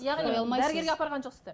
яғни дәрігерге апарған жоқсыздар